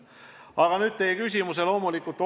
Aga nüüd teie põhiküsimuse juurde.